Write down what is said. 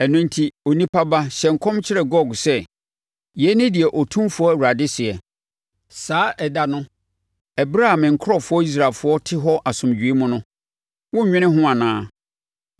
“Ɛno enti, onipa ba hyɛ nkɔm kyerɛ Gog sɛ, ‘Yei ne deɛ Otumfoɔ Awurade seɛ: Saa ɛda no, ɛberɛ a me nkurɔfoɔ Israelfoɔ te hɔ asomdwoeɛ mu no, worennwene ho anaa?